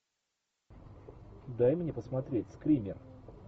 дай мне посмотреть скример